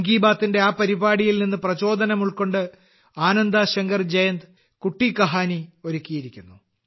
മൻ കി ബാത്തിന്റെ ആ പരിപാടിയിൽ നിന്ന് പ്രചോദനം ഉൾക്കൊണ്ട് ആനന്ദാ ശങ്കർ ജയന്ത് കുട്ടി കഹാനി ഒരുക്കിയിരിക്കുന്നു